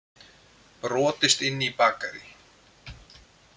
Brotist inn í bakarí